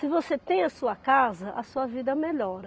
Se você tem a sua casa, a sua vida melhora.